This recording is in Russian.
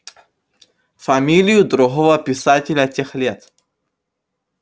фамилию другого писателя тех лет